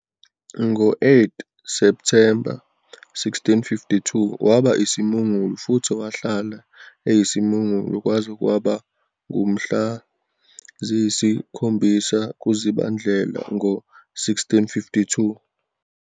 Ngo-8 Septhemba 1652 waba isimungulu futhi. Wahlala eyisimungulu kwaze kwaba ngumhla ziyisi-7 kuZibandlela ngo-1652.